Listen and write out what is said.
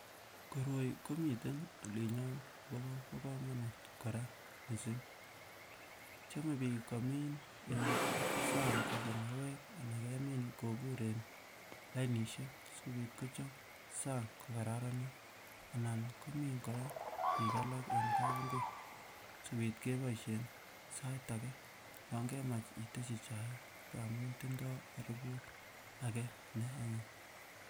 Koroi komiten olinyon akobo komonut kora mising, chome biik komin en sang koik mauwek anan kemin kobur en lainisiek sikobit kochop sang kokararanit anan komin korak biik alak en kabungui sikobit keboishen sait akee yon kemach iteshi chaik ng'amun tindo aribut akee neanyiny.